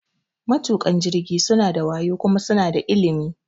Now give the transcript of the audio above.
Matuƙan jirgi suna da wayo kuma suna da ilimi.